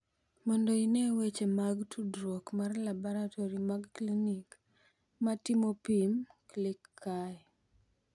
Mondo ine weche mag tudruok mag laboratori mag klinik ma timo pim, klik kae.